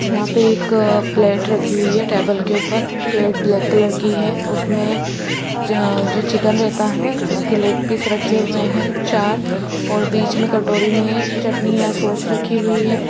यहां पे एक प्लेट रखी हुई है टेबल के ऊपर प्लेट ब्लैक कलर की है उसमे जअ जो चिकन रहता है उसके लेग पीस रखे हुए है चार और बीच में कटोरी में एक चटनि या सोस रखी हुई है।